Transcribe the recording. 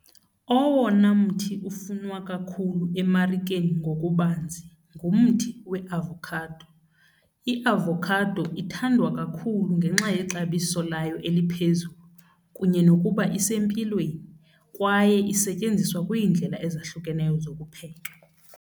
Owona mthi ufunwa kakhulu emarikeni ngokubanzi ngumthi weavakhado. Iavokhado ithandwa kakhulu ngenxa yexabiso layo eliphezulu kunye nokuba isempilweni kwaye isetyenziswa kwiindlela ezahlukeneyo zokupheka.